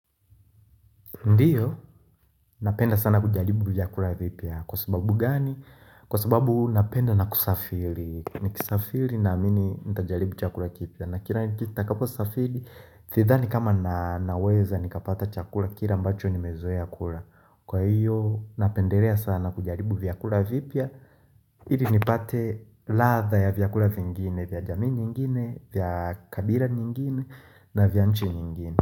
Ndiyo, napenda sana kujaribu vyakura vipya. Kwa sababu gani? Kwa sababu napenda na kusafiri. Nikisafiri naamini nitajaribu chakura kipya. Na kila nitakapo safiri, thidhani kama naweza nikapata chakura kile ambacho nimezoa kura. Kwa hiyo, napenderea sana kujaribu vyakura vipya. Iri nipate ladha ya vyakura vingine, vya jamiu nyingine, vya kabira nyingine na vya nchi nyingine.